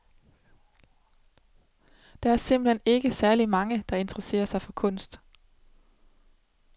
Der er simpelt hen ikke særlig mange, der interesser sig for kunst.